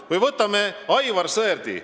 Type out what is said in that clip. Või võtame Aivar Sõerdi.